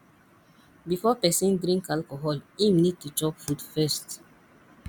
before person drink alcohol im need to chop food first